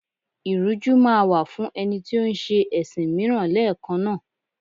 Ìrújú máa wà fún ẹni tó ń ṣẹ ẹ̀sìn mìíràn lẹ́ẹ̀kan náà.